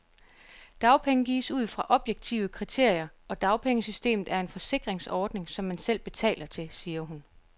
Dagpenge gives ud fra objektive kriterier, og dagpengesystemet er en forsikringsordning, som man selv betaler til, siger hun.